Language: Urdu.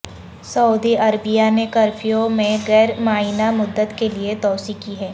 سعودی عربیہ نے کرفیو میں غیر معینہ مدت کے لئے توسیع کی ہے